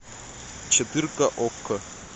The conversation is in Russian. четырка окко